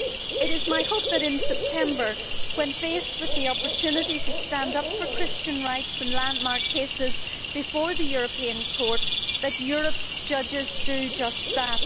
It is my hope that in September, when faced with the opportunity to stand up for Christian rights in landmark cases before the European Court, Europe's judges will do just that.